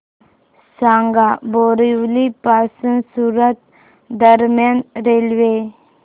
सांगा बोरिवली पासून सूरत दरम्यान रेल्वे